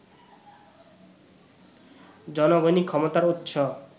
জনগণই ক্ষমতার উৎস